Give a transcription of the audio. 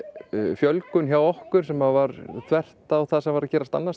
fjölgun hjá okkur sem var þvert á það sem var að gerast annars